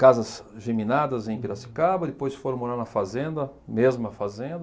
Casas geminadas em Piracicaba, depois foram morar na fazenda, mesma fazenda.